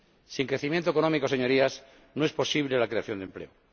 Sin crecimiento económico, Señorías, no es posible la creación de empleo.